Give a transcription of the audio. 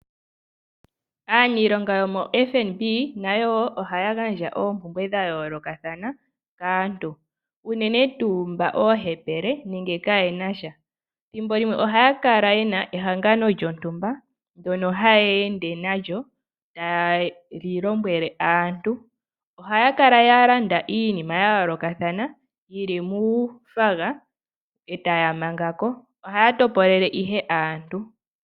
Aaniilonga yomo FNB nayo woo ohaya gandja oompumbwe dha yoolokathana kaantu unene tuu mba oohepele nenge kayenasha .Ethimbo limwe ohaya kala yena ehangano lyontumba ndono haya ende nalyo tayeli lombwele aantu. Ohaya kala ya landa iinima ya yoolokathana yili muunayilona etaya mangako . Ohaya topolele ihe aantu .